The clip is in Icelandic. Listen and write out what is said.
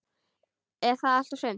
Er það allt og sumt?